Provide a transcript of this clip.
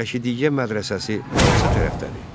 Rəşidiyyə mədrəsəsi hansı tərəfdədir?